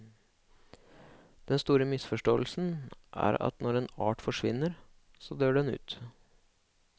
Den siste store misforståelsen er at når en art forsvinner, så dør den ut.